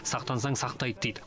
сақтансаң сақтайды дейді